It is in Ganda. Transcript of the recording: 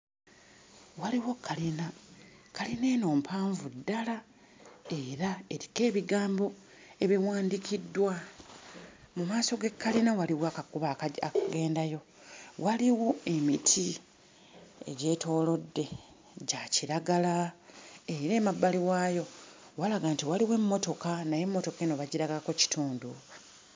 Waliwo kalina kalina eno mpanvu ddala era eriko ebigambo ebiwandiikiddwa mu maaso g'ekkalina waliwo akakubo akaji akagendayo waliwo emiti egyetoolodde gya kiragala era emabbali waayo walaga nti waliwo emmotoka naye emmotoka eno bagiragako kitundu.